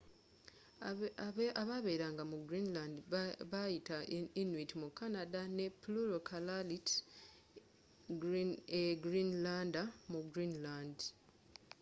ababeeranga mu greenland beyita inuit mu canada ne plural kalaaallit e greenlander mu greenland